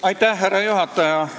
Austatud härra juhataja!